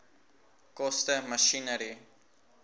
koste masjinerie